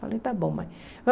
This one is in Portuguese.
Falei, tá bom, mãe.